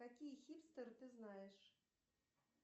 какие хипстеры ты знаешь